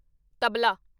tabla